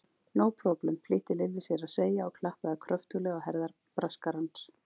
Nó próblem, flýtti Lilli sér að segja og klappaði kröftulega á herðar Braskarans.